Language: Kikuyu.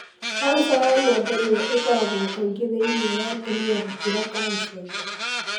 Kansa ya nyondo nĩyo ĩkoragwo kaingĩ thĩinĩ wa atumia gũkĩra kansa ingĩ.